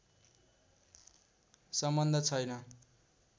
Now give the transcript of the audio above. सम्बन्ध छैन